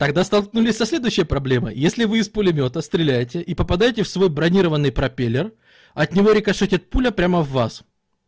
тогда столкнулись со следующей проблемой если вы из пулемёта стреляете и попадайте в свой бронированный пропеллер от него рикошетит пуля прямо в вас